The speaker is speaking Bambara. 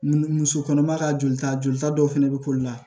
Mun muso kɔnɔma ka jolita jolita dɔw fɛnɛ bɛ k'olu la